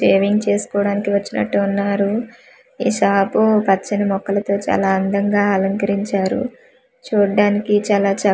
తేవింగ్ చేస్కొడానికి వచ్చినట్టు వున్నారు ఈ షాపు పచ్చని మొక్కలతో చాలా అందంగా అలంకరించారు చూడ్డానికి చాలా చక్కగా వుం--